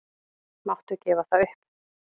Máttu gefa það upp?